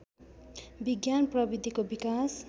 विज्ञान प्रविधिको विकास